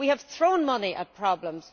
we have thrown money at problems.